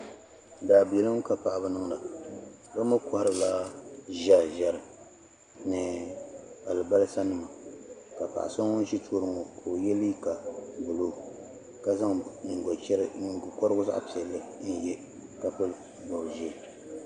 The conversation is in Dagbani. Daabilim kapaɣibi niŋda bi mi kohiri la zɛri zɛri ni albasa nima ka paɣiso ŋun zɛ tɔɔni ŋɔ ka oye liiga blue ka zaŋ nyiŋgo korigu zaɣi piɛli n.ye ka pili bɔb zɛɛ